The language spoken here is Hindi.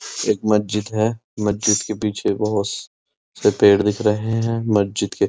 एक मस्जिद है। मस्जिद के पीछे बोहोत से पेड़ दिख रहे हैं। मस्जिद के --